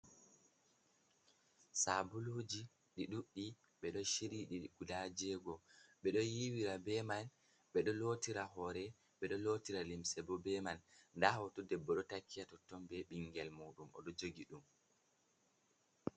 Sabuluji ɗi ɗuɗɗi ɓeɗo chiryi ɗi guda jego, ɓeɗo yiwira be man, ɓeɗo lotira hore, ɓe ɗo lotira limse bo be man. Nda hoto debbo ɗo taki ha totton be bingel mu ɗum oɗo jogi ɗum.